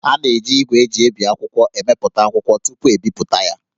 A na-eji ígwè e ji ebi akwụkwọ emepụta akwụkwọ tupu,e bipụta ya